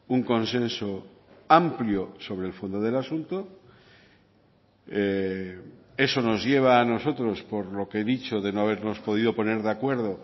un consenso amplio sobre el fondo del asunto eso nos lleva a nosotros por lo que he dicho de no habernos podido poner de acuerdo